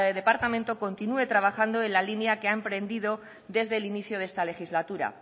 departamento continúe trabajando en la línea que ha emprendido desde el inicio de esta legislatura